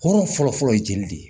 Hɔrɔn fɔlɔ fɔlɔ ye jeli de ye